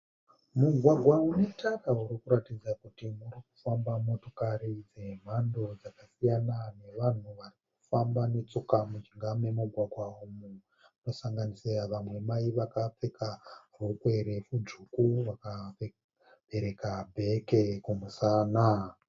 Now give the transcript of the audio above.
Mugwagwa unetara urikuratidza kuti urikufamba motokari dzemhando dzakasiyana nevanhu varikufamba netsoka mujinga memugwagwa umu. Kusanganisira vamwe mai vakapfeka rokwe refu, tsvuku vakabereka bheke kumusana.